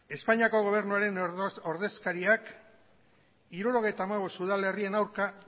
espainiako gobernuaren ordezkariak hirurogeita hamabost udalerrien aurka